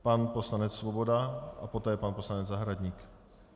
Pan poslanec Svoboda a poté pan poslanec Zahradník.